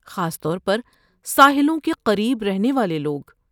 خاص طور پر ساحلوں کے قریب رہنے والے لوگ۔